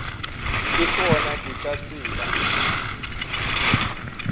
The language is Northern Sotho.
le gona ke ka tsela